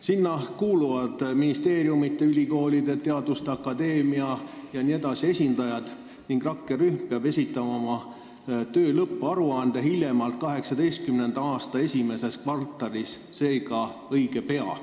Sinna kuuluvad näiteks ministeeriumide, ülikoolide ja teaduste akadeemia esindajad ning rakkerühm peab esitama oma töö lõpparuande hiljemalt 2018. aasta esimeses kvartalis, seega õige pea.